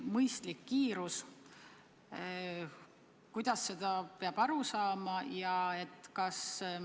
Mõistlik kiirus – kuidas sellest peab aru saama?